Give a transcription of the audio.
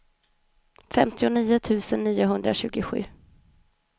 femtionio tusen niohundratjugosju